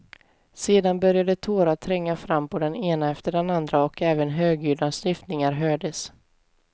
Sedan började tårar tränga fram på den ene efter andre och även högljudda snyftningar hördes.